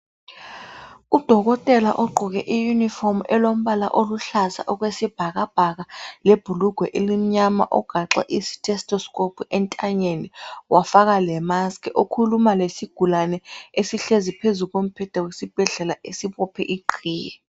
Udokotela ogqoke iuniform elombala oluhlaza okwesibhakabhaka lebhulugwe elimnyama ugaxe isithestoscope entanyeni wafaka lemask. Ukhuluma lesigulane esihlezi phezu kombheda wesibhedlela, esibophe iqhiye.